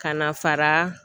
Ka na fara